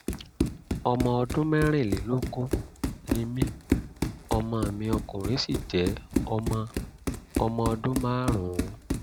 ọmọ ọdún mẹ́rìnlélógún ni mí ọmọ mi ọkùnrin sì jẹ́ ọmọ ọmọ ọdún márùn-ún